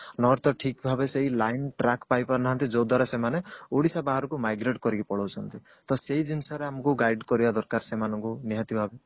nor ତ ଠିକ ଭାବେ ସେଇ line track ପାଇ ପାରୁନାହାନ୍ତି ଯୋଦ୍ଵାର ସେମାନେ ଓଡିଶା ବାହାରକୁ migrate କରିକି ପଲଉଛନ୍ତି ତ ସେଇ ଜିନିଷରେ ଆମକୁ guide କରିବା ଦରକାର ସେମାନଙ୍କୁ ନିହାତି ଭାବରେ